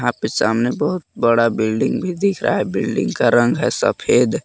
आपके सामने बहुत बड़ा बिल्डिंग भी दिख रहा है बिल्डिंग का रंग है सफेद।